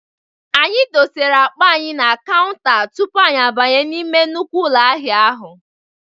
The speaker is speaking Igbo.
Anyị dosere akpa anyị na kanwuta tupu anyị abanye n'ime nnukwu ụlọ ahịa ahụ.